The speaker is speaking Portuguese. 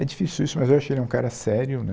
É difícil isso, mas eu achei ele um cara sério né.